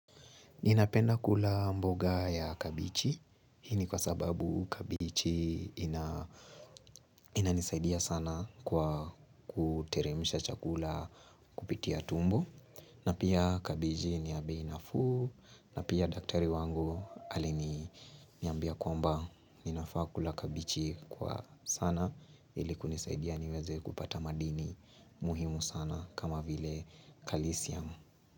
Ninapenda kula mboga ya kabichi, nini kwa sababu kabichi inanisaidia sana kwa kuteremsha chakula kupitia tumbo. Napia kabichi niyabei nafuu, napia daktari wangu alini ambia kwamba ninafaa kula kabichi kwa sana iliku nisaidia niweze kupata madini muhimu sana kama vile kalisiam.